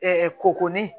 k'o ko ni